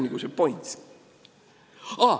See on see point.